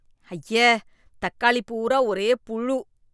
அய்யே தக்காளி பூரா ஒரே புழு.